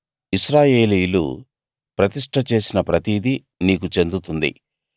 ఇశ్రాయేలీయులు ప్రతిష్ట చేసిన ప్రతిదీ నీకు చెందుతుంది